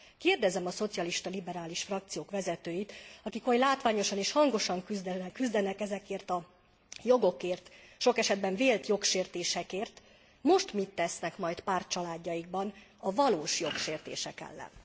Kérdezem a szocialista, liberális frakciók vezetőit, akik oly látványosan és hangosan küzdenek ezekért a jogokért, sok esetben vélt jogsértésekért most mit tesznek majd pártcsaládjaikban a valós jogsértések ellen?